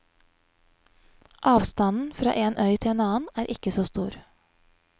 Avstanden fra en øy til en annen er ikke så stor.